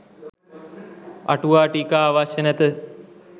අටුවා ටීකා අවශ්‍ය නැත